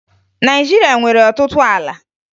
Naịjirịa nwere ọtụtụ ala